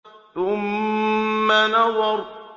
ثُمَّ نَظَرَ